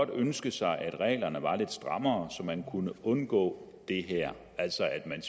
ønske sig at reglerne var lidt strammere så man kunne undgå det her altså at